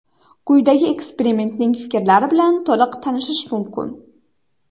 Quyida ekspertning fikrlari bilan to‘liq tanishish mumkin.